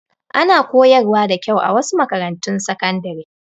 Ana koyarwa da kyau a wasu makarantun sakandare.